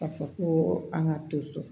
Ka fɔ ko an ka to so